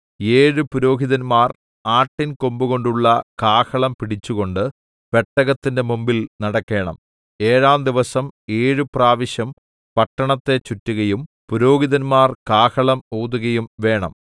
ഏഴു പുരോഹിതന്മാർ ആട്ടിൻ കൊമ്പുകൊണ്ടുള്ള കാഹളം പിടിച്ചുകൊണ്ട് പെട്ടകത്തിന്റെ മുമ്പിൽ നടക്കേണം ഏഴാം ദിവസം ഏഴു പ്രാവശ്യം പട്ടണത്തെ ചുറ്റുകയും പുരോഹിതന്മാർ കാഹളം ഊതുകയും വേണം